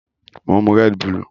Mo n mu red bulù